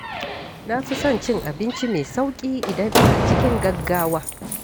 Na fi son cin abinci mai sauƙi idan ina cikin gaggawa.